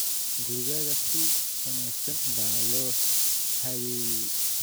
Gurigaaga si wanaagsan baa loo habeeyey